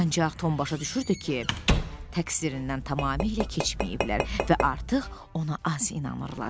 Ancaq Tom başa düşürdü ki, təqsirindən tamamilə keçməyiblər və artıq ona az inanırlar.